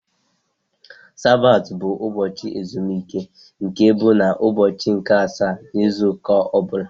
Sabat bụ ụbọchị ezumike nke bụ na ụbọchị nke asaá n' ịzụ ụka ọbula.